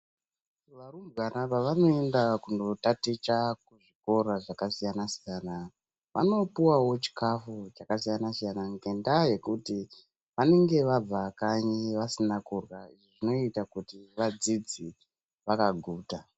Varumbwana pavanoenda kuzvikora kootaticha zvakasiyana siyana vanopuwawo chikafu chakasiyana siyana ngendaa yekuti vanenge vabva kanyi kwavo vasina kurya zvinoita kuti vadzidze vakaguta.